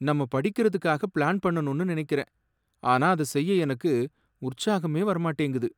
நம்ம படிக்கிறதுக்காக பிளான் பண்ணணும் நினைக்கிறேன், ஆனா அத செய்ய எனக்கு உற்சாகமே வர மாட்டேங்குது.